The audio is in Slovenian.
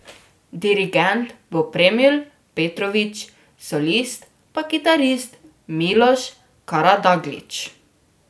Dirigent bo Premil Petrović, solist pa kitarist Miloš Karadaglić.